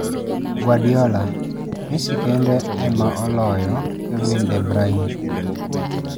Guardiola: 'Messi kende ema oloyo Kevin de Bryne'